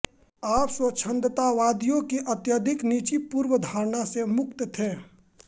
आप स्वच्छंदतावादियों की अत्यधिक निजी पूर्वधारणा से मुक्त थे